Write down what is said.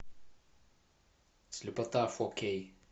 слепота фо кей